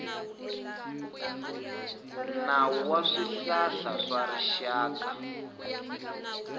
nawu wa swihlahla wa rixaka